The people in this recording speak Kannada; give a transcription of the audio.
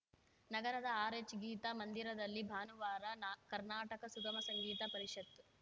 ನಗರದ ಆರ್‌ಎಚ್‌ಗೀತಾ ಮಂದಿರದಲ್ಲಿ ಭಾನುವಾರ ನಾ ಕರ್ನಾಟಕ ಸುಗಮ ಸಂಗೀತ ಪರಿಷತ್‌